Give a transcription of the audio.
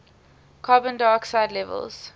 carbon dioxide levels